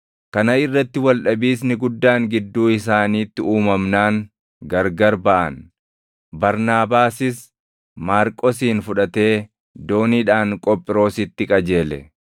Kana irratti waldhabiisni guddaan gidduu isaaniitti uumamnaan gargar baʼan; Barnaabaasis Maarqosin fudhatee dooniidhaan Qophiroositti qajeele.